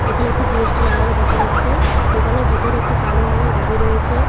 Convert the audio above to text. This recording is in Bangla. এখানে একটি জি_এস_টি নাম্বার -ও দেখা যাচ্ছে দোকানের ভেতর একটি কালো রংয়ের গাড়ি রয়েছে।